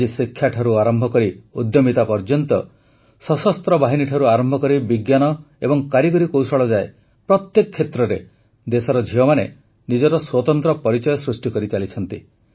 ଆଜି ଶିକ୍ଷାଠାରୁ ଆରମ୍ଭ କରି ଉଦ୍ୟମିତା ପର୍ଯ୍ୟନ୍ତ ସଶସ୍ତ୍ର ବାହିନୀଠାରୁ ଆରମ୍ଭ କରି ବିଜ୍ଞାନ ଏବଂ କାରିଗରି କୌଶଳ ଯାଏ ପ୍ରତ୍ୟେକ କ୍ଷେତ୍ରରେ ଦେଶର ଝିଅମାନେ ନିଜର ସ୍ୱତନ୍ତ୍ର ପରିଚୟ ସୃଷ୍ଟି କରିଚାଲିଛନ୍ତି